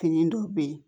Fini dɔw bɛ yen